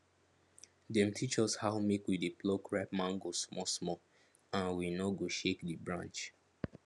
dem teach us how make we dey pluck ripe mango small smalland we no go shake the branch